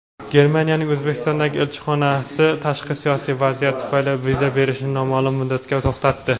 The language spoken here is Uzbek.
Germaniyaning O‘zbekistondagi elchixonasi "tashqi siyosiy vaziyat" tufayli viza berishni noma’lum muddatga to‘xtatdi.